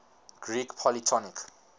greek polytonic